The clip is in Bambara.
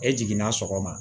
E jiginna sɔgɔma